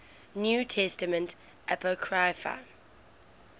new testament apocrypha